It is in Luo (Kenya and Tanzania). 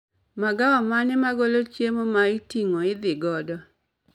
Magawa mane magolo chiemo ma iting'o idhi godo